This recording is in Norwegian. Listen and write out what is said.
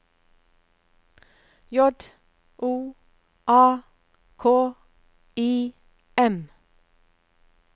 J O A K I M